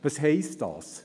Was heisst das?